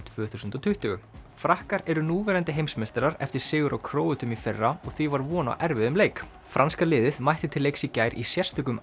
tvö þúsund og tuttugu frakkar eru núverandi heimsmeistarar eftir sigur á Króötum í fyrra og því var von á erfiðum leik franska liðið mætti til leiks í gær í sérstökum